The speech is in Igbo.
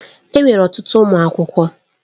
Enwere ọtụtụ ụmụ akwụkwọ.